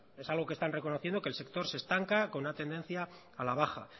es algo que se está reconociendo que el sector se estanca con una tendencia a la baja